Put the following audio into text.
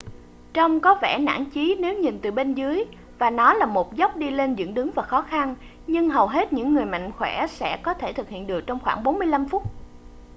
trông có vẻ nản chí nếu nhìn từ bên dưới và nó là một dốc đi lên dựng đứng và khó khăn nhưng hầu hết những người mạnh khoẻ sẽ có thể thực hiện được trong khoảng 45 phút